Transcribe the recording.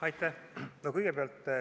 Aitäh!